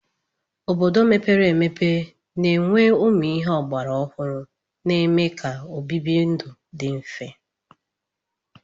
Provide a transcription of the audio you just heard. Obodo mepere emepe na-enwe ụmụ ihe ọgbara ọhụrụ na-eme ka obibi ndụ dị mfe.